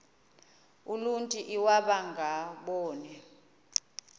uluntu iwaba ngaboni